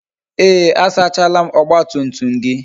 Ee, a sachala m ọgba tum tum gị